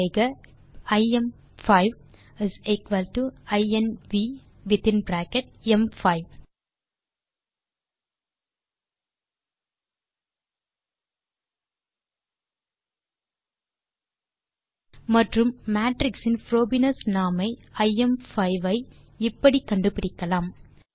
type செய்க terminal லில் ஐஎம்5 இன்வ் வித்தின் பிராக்கெட் ம்5 மற்றும் மேட்ரிக்ஸ் இன் புரோபீனியஸ் நார்ம் ஐ ஐஎம்5 ஐ இப்படி கண்டுபிடிக்கலாம்